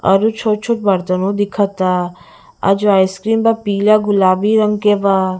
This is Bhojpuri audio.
और उ छोट छोट बर्तनों दिखता और जो आइस क्रीम बा पीला गुलाबी रंग के बा --